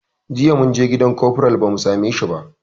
Jiya munje gidan kofral ba mu same shi ba